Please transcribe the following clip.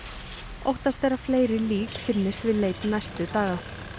óttast er að fleiri lík finnist við leit næstu daga